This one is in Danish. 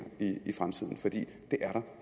i fremtiden for det er